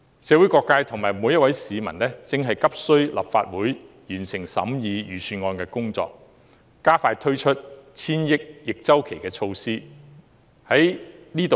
社會各界和每位市民急需立法會完成審議預算案的工作，加快推出千億元的逆周期措施。